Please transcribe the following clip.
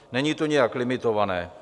Není to nijak limitované.